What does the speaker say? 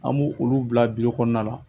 An b'o olu bila kɔnɔna la